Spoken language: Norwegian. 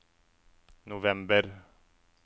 november